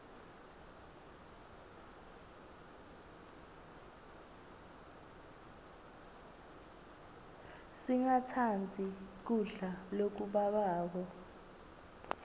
singatsandzi kudla lokubabako